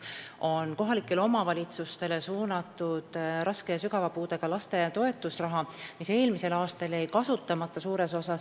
Mõtlen kohalikele omavalitsustele suunatud raske ja sügava puudega laste toetusraha, mis jäi eelmisel aastal suures osas kasutamata.